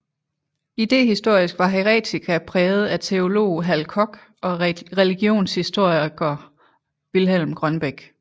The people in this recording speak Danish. Idehistorisk var Heretica præget af teolog Hal Koch og religionshistoriker Vilhelm Grønbech